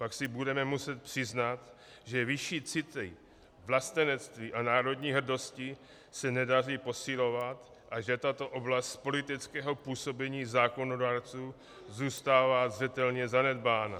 Pak si budeme muset přiznat, že vyšší city vlastenectví a národní hrdosti se nedaří posilovat a že tato oblast politického působení zákonodárců zůstává zřetelně zanedbána.